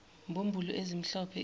mbumbulu ezimhlophe iphume